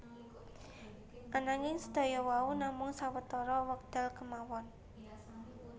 Ananging sedaya wau namung sawetara wekdal kemawon